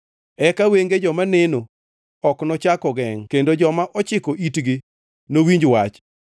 Eka wenge joma neno ok nochak ogengʼ, kendo joma ochiko itgi nowinj wach.